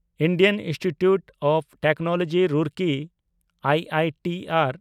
Indian institute of technology Roorkee (IITR)